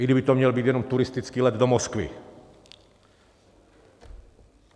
I kdyby to měl být jenom turistický let do Moskvy.